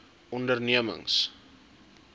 ondernemings